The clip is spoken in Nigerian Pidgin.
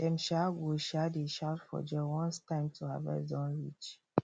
dem um go um dey shout for joy once time to harvest don reach